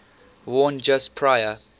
worn just prior